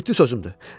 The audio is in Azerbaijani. Ciddi sözümdür.